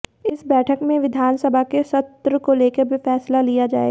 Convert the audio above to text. इस बैठक में विधानसभा के सत्र को लेकर फैसला लिया जाएगा